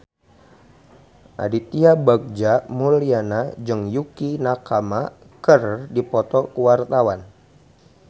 Aditya Bagja Mulyana jeung Yukie Nakama keur dipoto ku wartawan